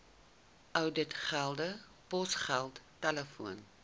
ouditgelde posgeld telefoon